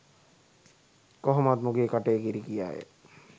කොහොමත් මුගෙ කටේ කිරි කියා ය.